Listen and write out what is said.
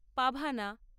পাভানা